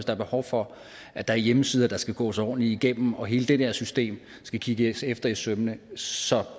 er behov for at der er hjemmesider der skal gås ordentligt igennem og at hele det der system skal kigges efter i sømmene så